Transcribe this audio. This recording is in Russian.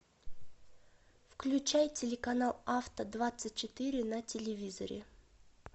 включай телеканал авто двадцать четыре на телевизоре